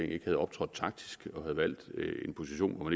ikke havde optrådt taktisk og havde valgt en position hvor